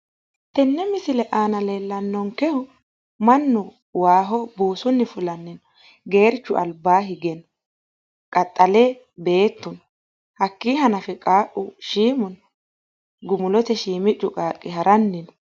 Tenne misile aana leellannonkehu mannu waaho buusunni fulanni no geerchu albaa hige no qaxxale beettu no hakkii hanafe qaaqqu shiimu no gumulote shiimiccu qaaqqi haranni no.